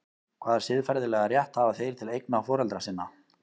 Hvaða siðferðilega rétt hafa þeir til eigna foreldra sinna?